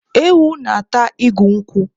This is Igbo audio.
Ewu na-ata igu nkwụ.